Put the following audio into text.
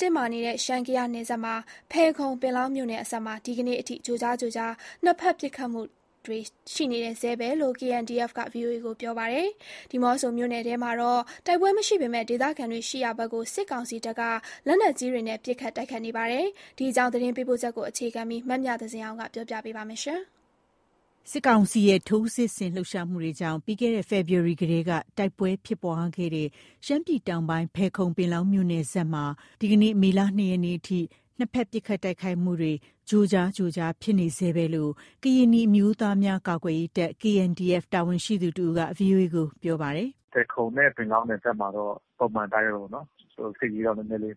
တင်းမာနေတဲ့ ရှမ်း−ကယားနယ်စပ်က ဖယ်ခုံ−ပင်လောင်းမြို့နယ်စပ်မှာ ဒီကနေ့ထိ ကြိုကြားကြိုကြား နှစ်ဖက် ပစ်ခတ်တိုက်ခိုက်မှုတွေ ရှိနေဆဲပဲလို့ KNDF က VOA ကို ပြောပါတယ်။ ဒီးမော့ဆိုမြို့နယ်ထဲမှာတော့ တိုက်ပွဲမရှိပေမယ့် ဒေသခံရှိရာဘက် စစ်ကောင်စီတပ်က လက်နက်ကြီးတွေနဲ့ ပစ်ခတ် တိုက်ခိုက်နေပါတယ်။ ဒီအကြောင်း သတင်းပေးပို့ချက်ကို အခြေခံပြီး မမြသဇင်အောင်က တင်ပြပေးပါမယ်။ စစ်ကောင်စီရဲ့ ထိုးစစ်ဆင် လှုပ်ရှားမှုတွေကြောင့် ပြီးခဲ့တဲ့ ဖေဖော်ဝါရီလကတည်းက တိုက်ပွဲဖြစ်ပွားခဲ့တဲ့ ရှမ်းပြည်တောင်းပိုင်း ဖယ်ခုံ-ပင်လောင်း မြို့နယ်စပ်မှာ ဒီကနေ့ မေလ ၂ရက်နေ့အထိ နှစ်ဖက် ပစ်ခတ်တိုက်ခိုက်မှုတွေ ကြိုကြားကြိုကြား ဖြစ်နေဆဲပဲလို့ ကရင်နီအမျိုးသားများကာကွယ်ရေးတပ် (KNDF) တာဝန်ရှိသူတဦးက VOA ကို ခုလို ပြောပါတယ်။ “ဖယ်ခုံနဲ့ ပင်လောင်းနယ်စပ်မှာတော့ ပုံမှန်အတိုင်းပဲပေါ့နော်၊ စစ်ရေးတော့ နည်းနည်းလေး